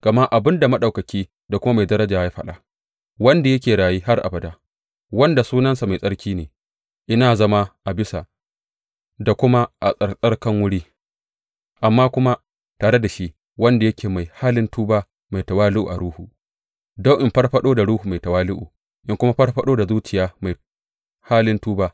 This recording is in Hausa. Gama abin da Maɗaukaki da kuma Mai daraja ya faɗa wanda yake raye har abada, wanda sunansa mai tsarki ne, Ina zama a bisa da kuma a tsattsarkan wuri, amma kuma tare da shi wanda yake mai halin tuba mai tawali’u a ruhu, don in farfaɗo da ruhu mai tawali’u in kuma farfaɗo da zuciyar mai halin tuba.